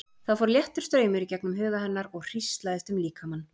Það fór léttur straumur í gegnum huga hennar og hríslaðist um líkamann.